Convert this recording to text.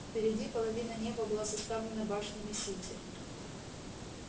впереди половина неба была заставлена башнями сити